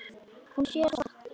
Hún sér svart.